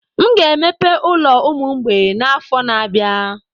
M ga-emepe ụlọ ụmụ mgbei n'afọ na-abịa.